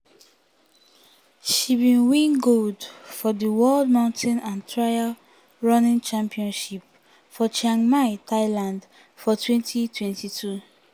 she bin win gold for di world mountain and trail running championships for chiang mai thailand for 2022.